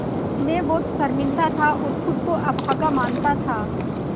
मैं बहुत शर्मिंदा था और ख़ुद को अभागा मानता था